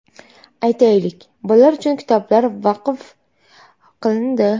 Aytaylik, bolalar uchun kitoblar vaqf qilindi.